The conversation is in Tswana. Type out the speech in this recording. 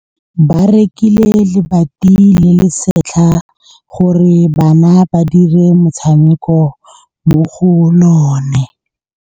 Ba rekile lebati le le setlha gore bana ba dire motshameko mo go lona.